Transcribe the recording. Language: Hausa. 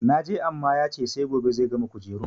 Na je amma ya ce sai gobe zai gama kujerun.